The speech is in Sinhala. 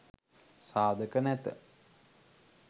සාධක නැත.